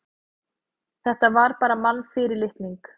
Þetta var bara mannfyrirlitning.